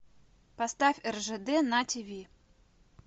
поставь ржд на тиви